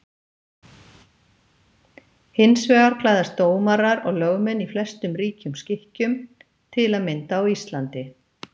Hins vegar klæðast dómarar og lögmenn í flestum ríkjum skikkjum, til að mynda á Íslandi.